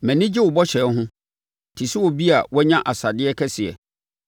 Mʼani gye wo bɔhyɛ ho te sɛ obi a wanya asadeɛ kɛseɛ.